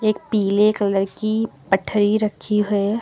एक पीले कलर की गठरी रखी है।